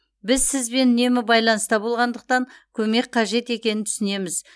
біз сізбен үнемі байланыста болғандықтан көмек қажет екенін түсінеміз